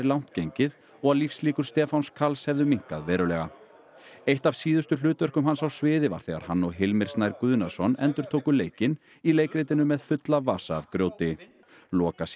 langt gengið og að lífslíkur Stefáns Karls hefðu minnkað verulega eitt af síðustu hlutverkum hans á sviði var þegar hann og Hilmir Snær Guðnason endurtóku leikinn í leikritinu með fulla vasa af grjóti